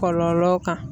Kɔlɔlɔ kan